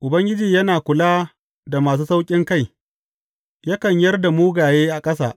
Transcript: Ubangiji yana kula da masu sauƙinkai yakan yar da mugaye a ƙasa.